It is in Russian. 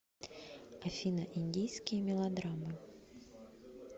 афина индийские мелодраммы